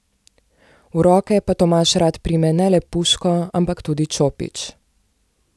V roke pa Tomaž rad prime ne le puško, ampak tudi čopič.